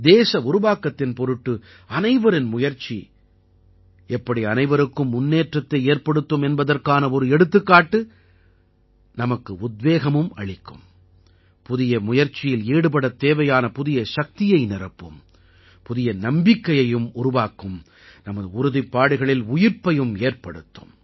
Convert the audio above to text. தேச உருவாக்கத்தின் பொருட்டு அனைவரின் முயற்சி எப்படி அனைவருக்கும் முன்னேற்றத்தை ஏற்படுத்தும் என்பதற்கான ஒரு எடுத்துக்காட்டு நமக்கு உத்வேகமும் அளிக்கும் புதிய முயற்சியில் ஈடுபடத் தேவையான புதிய சக்தியை நிரப்பும் புதிய நம்பிக்கையையும் உருவாக்கும் நமது உறுதிப்பாடுகளில் உயிர்ப்பையும் ஏற்படுத்தும்